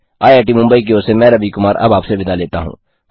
IIT Mumbai की ओर से मैं रवि कुमार अब आपसे विदा लेता हूँ